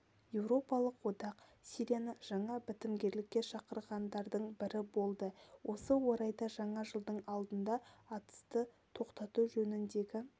еуропалық одақ сирияны жаңа бітімгерлікке шақырғандардың бірі болды осы орайда жаңа жылдың алдында атысты тоқтату жөніндегі